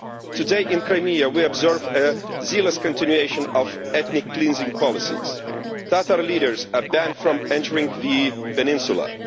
Today in Crimea we observe a zealous continuation of ethnic cleansing policies. Tatar leaders are banned from entering the peninsula.